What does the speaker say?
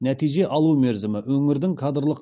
нәтиже алу мерзімі өңірдің кадрлық